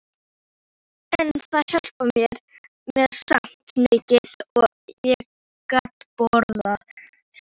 En það hjálpaði mér samt mikið að ég gat borðað.